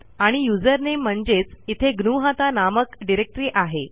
आणि यूझर नामे म्हणजेच इथे ग्नुहता नामक डिरेक्टरी आहे